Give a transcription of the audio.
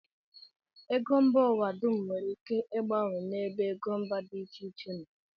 Ego mba ụwa dum nwere ike mgbanwe n'ebe ego mba dị iche iche nọ